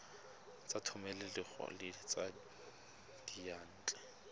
tsa thomeloteng le tsa diyantle